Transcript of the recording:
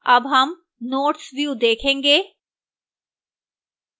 अब हम notes view देखेंगे